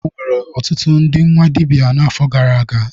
Enwere ọtụtụ ndị nwa dibịa n'afọ gara aga.